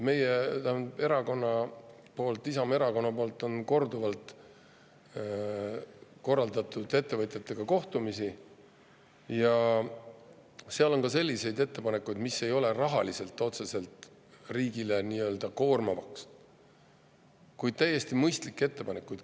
Meie erakond, Isamaa Erakond on korduvalt korraldanud ettevõtjatega kohtumisi ja seal on ka selliseid ettepanekuid, mis ei ole rahaliselt otseselt riigile koormavad, vaid on täiesti mõistlikud ettepanekud.